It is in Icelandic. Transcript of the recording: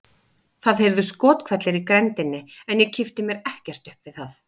Það heyrðust skothvellir í grenndinni en ég kippti mér ekkert upp við það.